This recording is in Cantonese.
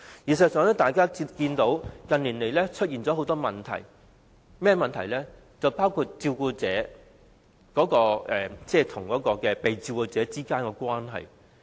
事實上，關於這個議題，近年出現了很多問題，包括照顧者與被照顧者之間的關係。